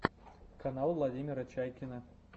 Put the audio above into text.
канал владимира чайкина